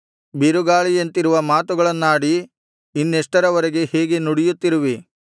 ಬಿರುಗಾಳಿಯಂತಿರುವ ಮಾತುಗಳನ್ನಾಡಿ ಇನ್ನೆಷ್ಟರವರೆಗೆ ಹೀಗೆ ನುಡಿಯುತ್ತಿರುವಿ